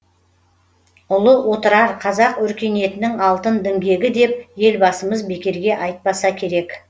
ұлы отырар қазақ өркениетінің алтын діңгегі деп елбасымыз бекерге айпаса керек